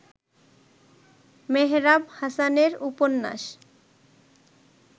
মেহরাব হাসানের উপন্যাস